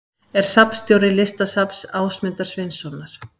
Er safnstjóri Listasafns Ásmundar Sveinssonar.